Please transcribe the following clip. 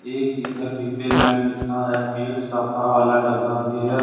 एक इधर डिब्बे में लिखा है पेट सफा वाला डब्बा भी है।